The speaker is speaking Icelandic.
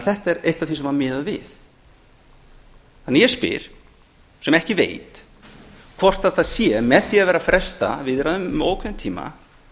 þetta er eitt af því sem var miðað við ég spyr því sem ekki veit hvort það sé með því að vera að fresta viðræðum um óákveðinn tíma